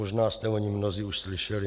Možná jste o něm mnozí už slyšeli.